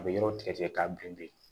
A bɛ yɔrɔ tigɛ k'a bilen bilen